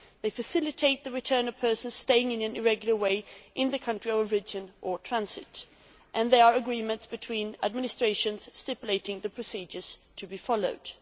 They facilitate the return of persons staying irregularly in the country of origin or transit and they are agreements between administrations stipulating the procedures to be followed.